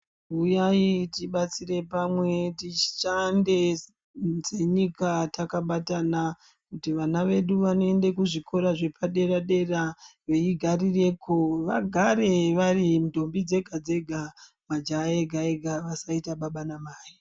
Uyai tibatsire pamwe tishande nenyika takabatana kuti vana vedu vanoende kuzvikora zvepaderadera veigarireko vagare vari ndombi dzega dzega majaha ega ega vasaita baba namai.